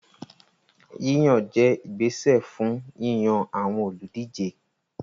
Yíyàn jẹ́ ìgbésẹ̀ fún yíyan àwọn olùdíje